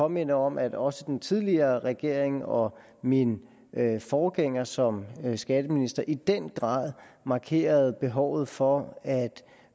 minde om at også den tidligere regering og min forgænger som skatteminister i den grad markerede behovet for at